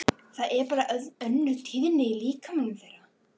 Það er bara önnur tíðni í líkamanum þeirra.